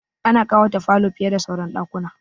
Ana ƙawata falo fiye da sauran ɗakuna.